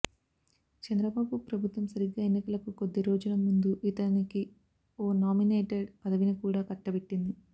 చంద్రబాబు ప్రభుత్వం సరిగ్గా ఎన్నికలకు కొద్ది రోజుల ముందు ఇతనికి ఓ నామినేటెడ్ పదవిని కూడా కట్టబెట్టింది